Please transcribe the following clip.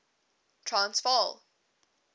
transvaal